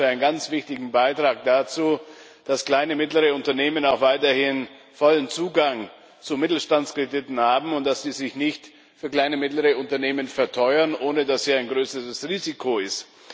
Ich halte das für einen ganz wichtigen Beitrag dazu, dass kleine und mittlere Unternehmen auch weiterhin vollen Zugang zu Mittelstandskrediten haben und dass diese sich nicht für kleine und mittlere Unternehmen verteuern, ohne dass hier ein größeres Risiko ist.